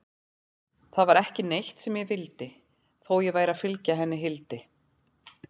Það var ekki neitt sem ég vildi, þó ég væri að fylgja henni Hildi.